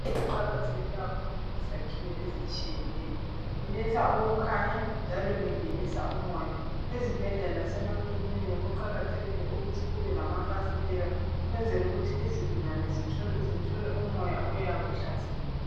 kuqakatheke kakhulu kuzakhiwo ezitshiyeneyo liletha ukukhanya njalo lingenisa umoya ezibhedlela lasemakilinika kuqakathekile ukuthi kube lamafasitela ukwenzela ukuthi izigulane zithole umoya oyabe uhlanzekile